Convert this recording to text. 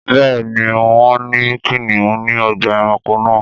Bẹ́ẹ̀ ni, wọn ní kìnnìún ní ọgbà-ẹranko náà.